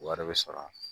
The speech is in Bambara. Wari bɛ sɔrɔ